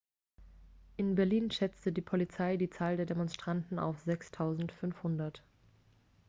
in berlin schätzte die polizei die zahl der demonstranten auf 6.500